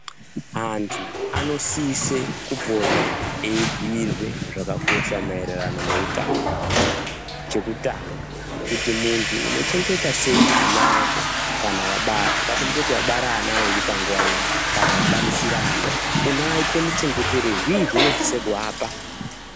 Antu anosise kupota eibhuyirwe zvakakosha maererano neutano hwavo. Chekutanga, kuti muntu unochengeta sei ana ako kana wabara. Ngatimboti wabara ana airi panguwa imwe kana wabarisirana, unoaite muchengeterei? Zvii zveunosise kuvapa?